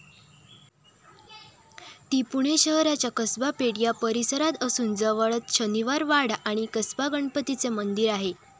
ती पुणे शहराच्या कसबा पेठ या परिसरात असून जवळच शनिवारवाडा आणि कसबा गणपतीचे मंदिर आहे.